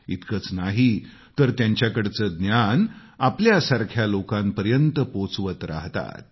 इतकंच नाही तर त्यांच्याकडचं ज्ञान आपल्या सारख्या लोकांपर्यंत पोहोचवत राहतात